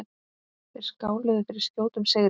Þeir skáluðu fyrir skjótum sigri.